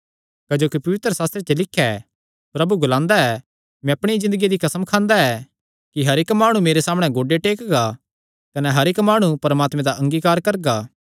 क्जोकि पवित्रशास्त्रे च लिख्या ऐ प्रभु ग्लांदा ऐ मैं अपणिया ज़िन्दगिया दी कसम खांदा ऐ कि हर इक्क माणु मेरे सामणै गोड्डे टेकगा कने हर इक्क माणु परमात्मे दा अंगीकार करगा